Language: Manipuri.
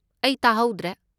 ꯑꯩ ꯇꯥꯍꯧꯗ꯭ꯔꯦ꯫